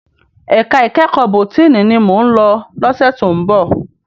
Èká ikèékò bótìní ni mó n lò lòsè tó n bò